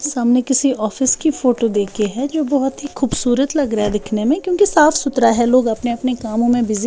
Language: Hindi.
सामने किसी ऑफिस की फोटो देखे हैं जो बहुत ही खूबसूरत लग रहा है दिखने में क्योंकि साफ सुथरा है लोग अपने-अपने कामों में बिज़ी --